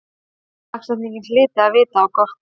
Dagsetningin hlyti að vita á gott.